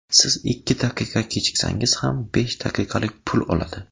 Siz ikki daqiqa kechiksangiz ham, besh daqiqalik pul oladi.